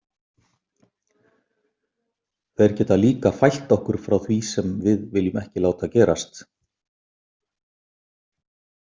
Þeir geta líka fælt okkur frá því sem við viljum ekki láta gerast.